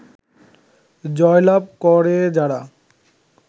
জয়লাভ করে যারা